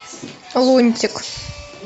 лунтик